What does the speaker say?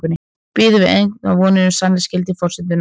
Bindum við einhverjar vonir við sannleiksgildi forsendunnar?